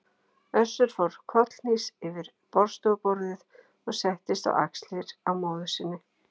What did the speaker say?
Össur fór kollhnís yfir borðstofuborðið og settist á axlirnar á móður sinni.